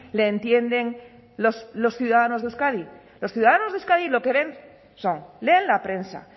le entienden los ciudadanos de euskadi los ciudadanos de euskadi lo que ven son leen la prensa